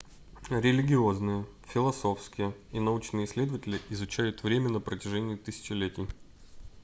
религиозные философские и научные исследователи изучают время на протяжении тысячелетий